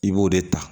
I b'o de ta